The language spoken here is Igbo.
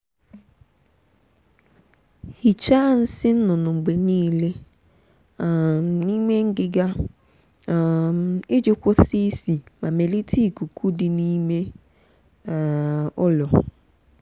hichaa nsị nnụnụ mgbe niile um n'ime ngịga um iji kwụsị isi ma melite ikuku dị n'ime um ụlọ.